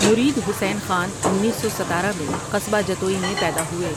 مرید حسین خان انیس سو ستارہ میں قصبہ جتوئی میں پیدا ہوئے ۔